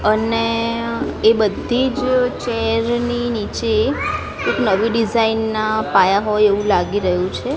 અને એ બધીજ ચેર ની નીચે એક નવી ડિઝાઇન ના પાયા હોય એવુ લાગી રહ્યુ છે.